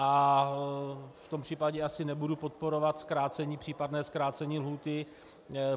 A v tom případě asi nebudu podporovat případné zkrácení lhůty.